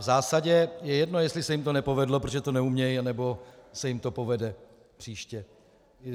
V zásadě je jedno, jestli se jim to nepovedlo, protože to neumějí, anebo se jim to povede příště.